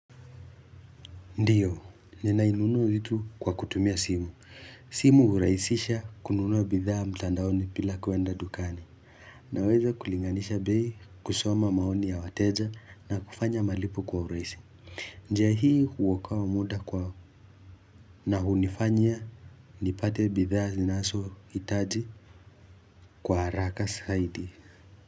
Ndiyo, ninainunua vitu kwa kutumia simu. Simu huraisisha kununua bidhaa mtandaoni bila kuenda dukani. Naweza kulinganisha bei kusoma maoni ya wateja na kufanya malipo kwa urahisi. Njia hii huokoa muda kwao na hunifanya nipate bidhaa zinazohitaji kwa haraka zaidi.